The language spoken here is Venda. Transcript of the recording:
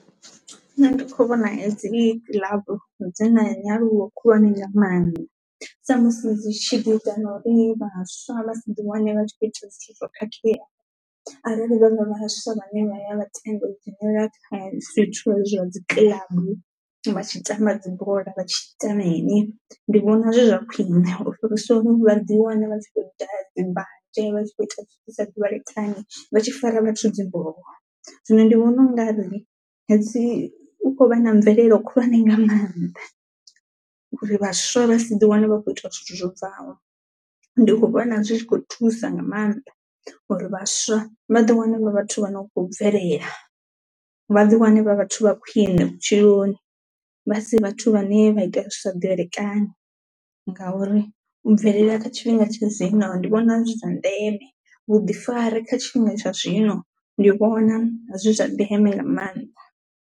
Nṋe ndi kho vhona hedzi kilabu dzi na nyaluwo khulwane nga maanḓa sa musi dzi tshi ḓi ita na uri vhaswa vha si ḓi wane vha tshi kho ita zwithu zwo khakhea arali vha nga vha vhaswa vhane vha ya vha tenda u dzhenelela kha zwithu zwa dzi kilabu vha tshi tamba dzibola vhatshi ita mini ndi vhona zwi zwa khwiṋe u fhirisa uri vha ḓi wane vha khou daha dzi mbanzhe vha tshi kho ita zwi sa ḓivhalekani vha tshi fara vhathu dzi mboho. Zwino ndi vhona u nga ri hedzi hu kho vha na mvelelo khulwane nga maanḓa uri vhaswa vha si ḓi wane vha kho ita zwithu zwo bvaho, ndi kho vhona zwi tshi kho thusa nga mannḓa uri vhaswa vha ḓi wane vha vhathu vha no khou bvelela, vha ḓi wane vha vhathu vha khwine vhutshiloni vha si vhathu vhane vha ita zwi sa ḓivhalekani ngauri u bvelela kha tshifhinga tsha zwino ndi vhona zwi zwa ndeme, vhuḓifari kha tshifhinga tsha zwino ndi vhona zwi zwa ndeme nga maanḓa.